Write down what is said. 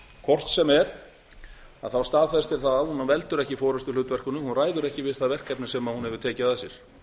hvort sem er staðfestir það að hún veldur ekki forustuhlutverkinu hún ræður ekki við það verkefni sem hún hefur tekið að sér